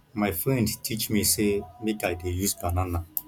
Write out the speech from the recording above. my friend teach me say make i dey use banana